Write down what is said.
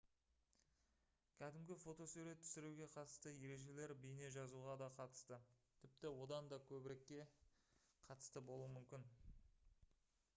кәдімгі фотосурет түсіруге қатысты ережелер бейне жазуға да қатысты тіпті одан да көбірекке қатысты болуы мүмкін